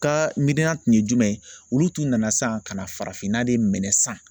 Ka miiriya tun ye jumɛn olu tun nana san ka na farafinna de minɛ san